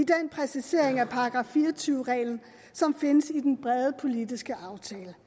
er af § fire og tyve reglen som findes i den brede politiske aftale